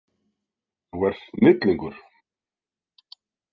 Þú ert snillingur.